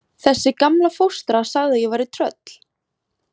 Þessi gamla fóstra sagði að ég væri tröll.